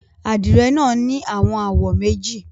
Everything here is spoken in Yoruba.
Adire naa ni awọn awọ meji